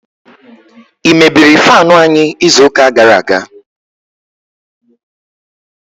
i mebiri faanu anyi izu uka gara aga?